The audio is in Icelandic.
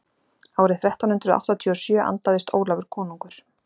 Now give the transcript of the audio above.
árið þrettán hundrað áttatíu og sjö andaðist ólafur konungur